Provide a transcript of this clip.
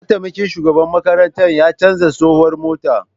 Mataimakin shugaban makarantar ya canza tsohuwar mota